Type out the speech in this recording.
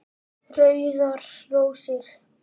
Rauðar rósir